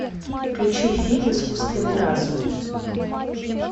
включи фильм искусственный разум